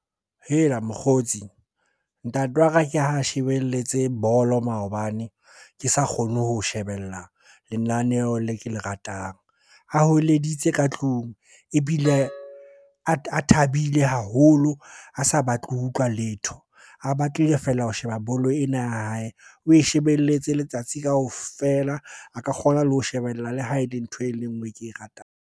Hela mokgotsi! Ntate wa ka ke ha a shebelletse bolo maobane ke sa kgone ho shebella lenaneo le ke le ratang. A hweleditse ka tlung, ebile a thabile haholo a sa batle ho utlwa letho. A batlile feela ho sheba bolo ena ya hae. Oe shebelletse letsatsi kaofela, ha ka kgona le ho shebella le ha e le ntho e le nngwe e ke e ratang.